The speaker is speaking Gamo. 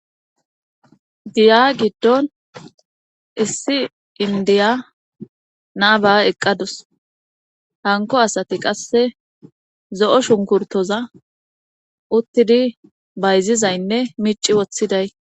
Giya giddon issi indiya naaba eqqadus hanko asati qasse zo7o shunkurtoza uttidi bayzizaynne miici woththiday...